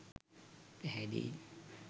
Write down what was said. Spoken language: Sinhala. පැහැදී